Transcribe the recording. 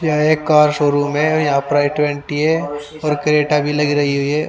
यह एक car showroom है और यहाँ पर आई ट्वेंटी है और क्रेटा भी लग रही है ये ।